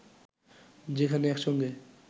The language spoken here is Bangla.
যেখানে একসঙ্গে